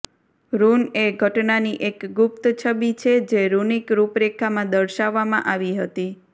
rune એ ઘટનાની એક ગુપ્ત છબી છે જે રૂનિક રૂપરેખામાં દર્શાવવામાં આવી હતી